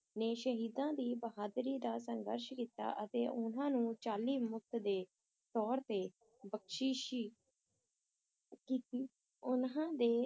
ਨੇ ਸ਼ਹੀਦਾਂ ਦੀ ਬਹਾਦਰੀ ਦਾ ਸੰਘਰਸ਼ ਕੀਤਾ ਅਤੇ ਉਨ੍ਹਾਂ ਨੂੰ ਚਾਲੀ ਮੁਕਤ ਦੇ ਤੌਰ ਤੇ ਬਖਸ਼ਿਸ਼ ਕੀਤੀ, ਉਨ੍ਹਾਂ ਦੇ